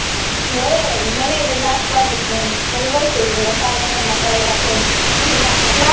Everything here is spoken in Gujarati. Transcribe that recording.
જોઈએ હવે મને એ તો ના જ પડે છે એમ તો હું કઉ છુ લે સાવ નાના નાના કરાઈ નાખું એમ મમ્મી ના પડે છે